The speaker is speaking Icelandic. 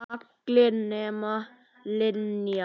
Allar nema Linja.